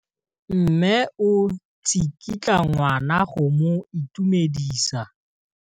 Mme o tsikitla ngwana go mo itumedisa.